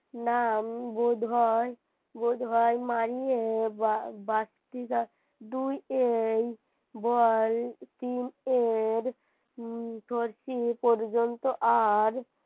না বোধহয় মানিয়ে বাড়তিরা দুই এর তিন এর পর্যন্ত আর